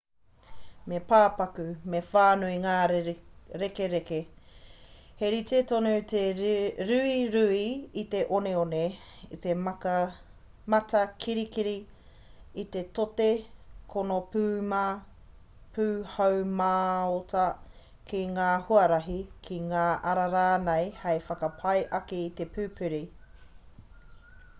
me pāpaku me whānui ngā rekereke. he rite tonu te ruirui i te oneone i te matakirikiri i te tote konopūmā pūhaumāota ki ngā huarahi ki ngā ara rānei hei whakapai ake i te pupuri